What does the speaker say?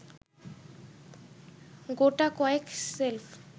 গোটাকয়েক shelf